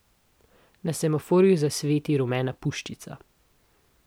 Na semaforju zasveti rumena puščica.